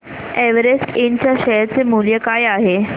Everest इंड च्या share चे मूल्य काय आहे